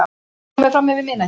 Það er komið framyfir miðnætti.